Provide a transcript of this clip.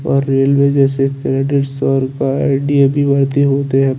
ओए रेलवे जेसे फेदिस फोर पर आइ_डी_ए_पि बेहती हो तो यहाँ--